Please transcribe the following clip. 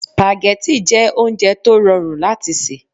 Spaghetti jẹ́ oúnjẹ tó rọrùn láti sè